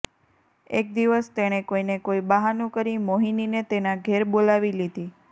એક દિવસ તેણે કોઈને કોઈ બહાનું કરી મોહિનીને તેના ઘેર બોલાવી લીધી